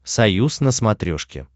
союз на смотрешке